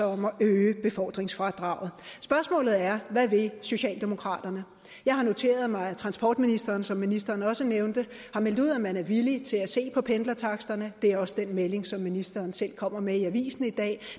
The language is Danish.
om at øge befordringsfradraget spørgsmålet er hvad vil socialdemokraterne jeg har noteret mig at transportministeren som ministeren også nævnte har meldt ud at man er villig til at se på pendlertaksterne og det er også den melding som ministeren selv kommer med i avisen i dag